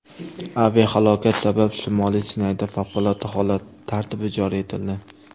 Aviahalokat sabab Shimoliy Sinayda favqulodda holat tartibi joriy etildi.